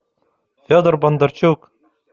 федор бондарчук